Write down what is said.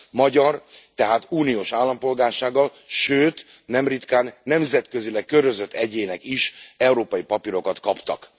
magyar, tehát uniós állampolgársággal, sőt, nem ritkán nemzetközileg körözött egyének is európai papírokat kaptak.